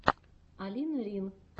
алина рин